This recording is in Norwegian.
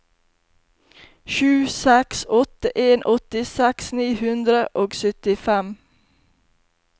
sju seks åtte en åttiseks ni hundre og syttifem